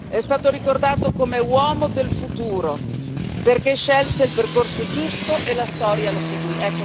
È stato ricordato come uomo del futuro, perché scelse il percorso giusto e la Storia lo seguì.